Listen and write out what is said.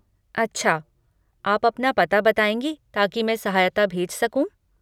अच्छा, आप अपना पता बताएँगी ताकि मैं सहायता भेज सकूँ?